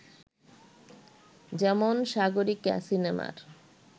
যেমন ‘সাগরিকা’ সিনেমার